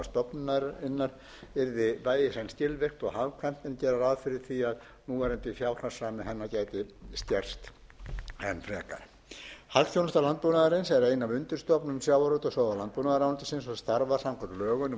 stofnunarinnar yrði bæði í senn skilvirkt og hagkvæmt en gera verði ráð fyrir því að núverandi fjárhagsrammi hennar geti skerst enn frekar hagþjónusta landbúnaðarins er ein af undirstofnunum sjávarútvegs og landbúnaðarráðuneytisins og starfar samkvæmt lögum númer